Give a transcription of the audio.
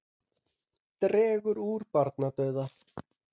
Dregur úr barnadauða